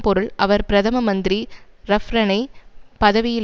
பொருள் அவர் பிரதம மந்திரி ரஃப்ரனை பதவியில்